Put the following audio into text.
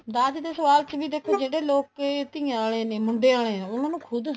ਦਾਜ ਦੇ ਸਵਾਲ ਚ ਵੀ ਦੇਖੋ ਜਿਹੜੇ ਲੋਕ ਧੀਆਂ ਆਲੇ ਮੁੰਡੇ ਆਲੇ ਆ ਉਹਨਾ ਨੂੰ ਖੁਦ